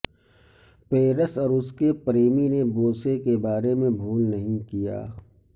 Paris اور اس کے پریمی نے بوسے کے بارے میں بھول نہیں کیا